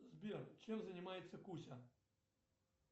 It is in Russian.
сбер чем занимается куся